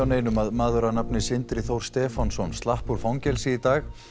neinum að maður að nafni Sindri Þór Stefánsson slapp úr fangelsi í dag